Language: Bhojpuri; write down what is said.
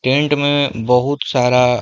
टेन्ट में बहोत सारा --